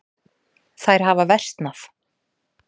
Þær hafa versnað.